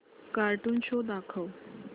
cartoon show दाखव